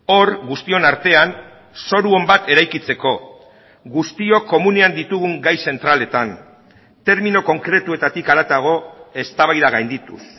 hor guztion artean zoru on bat eraikitzeko guztiok komunean ditugun gai zentraletan termino konkretuetatik haratago eztabaida gaindituz